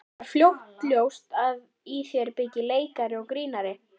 Var fljótt ljóst að í þér byggi leikari og grínari?